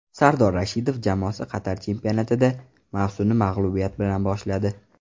Sardor Rashidov jamoasi Qatar chempionatida mavsumni mag‘lubiyat bilan boshladi.